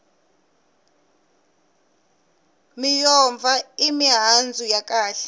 miyombva i mihandzu ya kahle